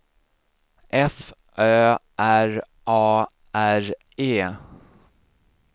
F Ö R A R E